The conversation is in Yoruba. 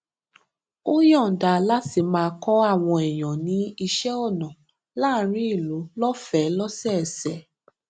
ó yòǹda láti máa kó àwọn èèyàn ní iṣé ọnà láàárín ìlú lófèé lósòòsè